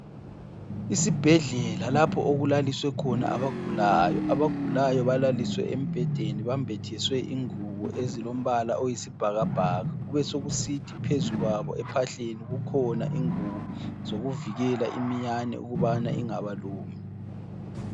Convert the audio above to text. Isibhedlela lapho okulaliswe khona abagulayo, abagulayo balaliswe embhedeni bambathiswe ingubo ezilombala oyisibhakabhaka kubesokusithi phezu kwabo ephahleni kukhona ingubo zokuvikela iminyane ukubana ingabalumi.